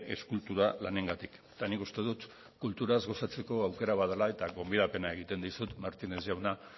eskultura lanengatik eta nik uste dut kulturaz gozatzeko aukera badela eta gonbidapena egiten dizut martínez jauna